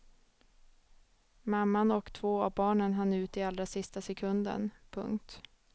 Mamman och två av barnen hann ut i allra sista sekunden. punkt